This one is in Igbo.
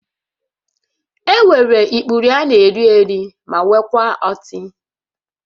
Enwere ikpuru a na-eri eri ma nwekwaa ọtị